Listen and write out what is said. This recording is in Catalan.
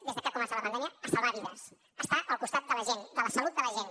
des de que ha començat la pandèmia a salvar vides a estar al costat de la gent de la salut de la gent